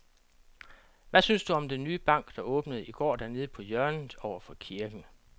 Hvad synes du om den nye bank, der åbnede i går dernede på hjørnet over for kirken?